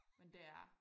Men det er